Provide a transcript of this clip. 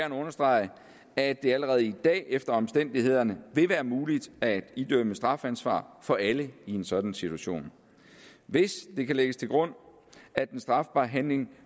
understrege at det allerede i dag alt efter omstændighederne vil være muligt at idømme strafansvar for alle i en sådan situation hvis det kan lægges til grund at den strafbare handling